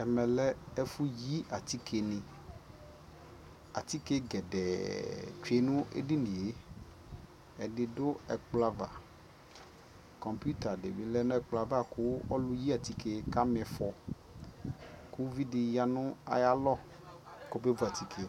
ɛmɛ lɛ ɛfuyi atikeni atike gɛ dɛ tsue nu edinie ɛdi du ɛkplɔ ava computer dini lɛnu ɛkplɔ ava ku ɔlʊyi atike kamifɔ kuvidi ya nu ayalɔ ku ekuevu atike